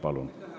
Palun!